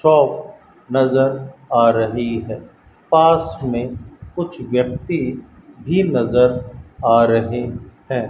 Shop नजर आ रही है पास में कुछ व्यक्ति भी नजर आ रहे हैं।